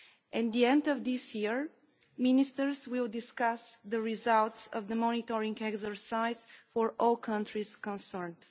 At the end of this year, Ministers will discuss the results of the monitoring exercise for all countries concerned.